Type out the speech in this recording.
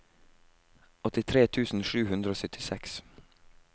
åttitre tusen sju hundre og syttiseks